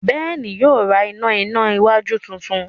Ben yíò rá iná iná wájú títún